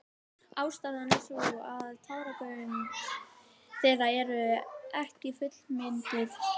Ástæðan er sú að táragöng þeirra eru ekki fullmynduð.